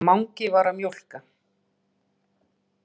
Mangi var að mjólka.